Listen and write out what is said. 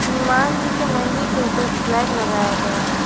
हनुमान जी के मंदिर के ऊपर एक फ्लैग लगाया गया है।